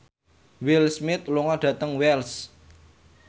Will Smith lunga dhateng Wells